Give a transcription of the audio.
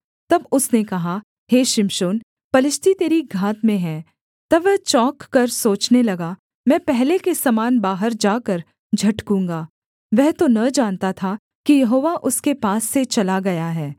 तब उसने कहा हे शिमशोन पलिश्ती तेरी घात में हैं तब वह चौंककर सोचने लगा मैं पहले के समान बाहर जाकर झटकूँगा वह तो न जानता था कि यहोवा उसके पास से चला गया है